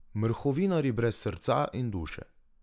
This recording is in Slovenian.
Mrhovinarji brez srca in duše.